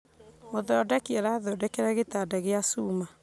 Mũthondeki arathondekera gĩtanda gĩa cuma